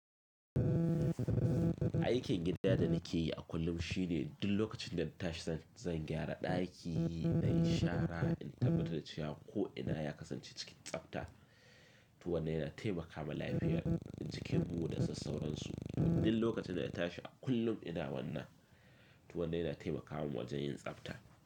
Aikin gida da nake yi a kullum shi ne duk lokacin da na tashi zan gyara daki, na yi shara, in tabbatar cewa ko ina ya kasance cikin tsabta. To wannan yana taimaka ma lafiyar jikin mu da sassauran su. Duk lokacin da na tashi a kullum ina wannan, to wannan yana dai na taimaka mun wajen yin tsabta.